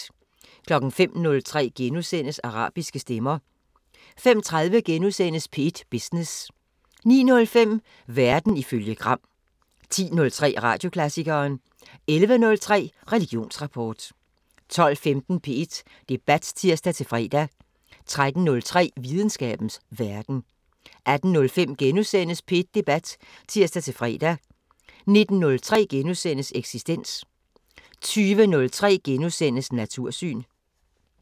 05:03: Arabiske stemmer * 05:30: P1 Business * 09:05: Verden ifølge Gram 10:03: Radioklassikeren 11:03: Religionsrapport 12:15: P1 Debat (tir-fre) 13:03: Videnskabens Verden 18:05: P1 Debat *(tir-fre) 19:03: Eksistens * 20:03: Natursyn *